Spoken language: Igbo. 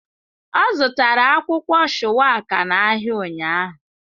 Ọ zụtara akwụkwọ shuwaka n'ahịa ụnyahụ.